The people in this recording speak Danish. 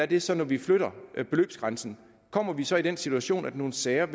det så når vi flytter beløbsgrænsen kommer vi så i den situation at nogle sager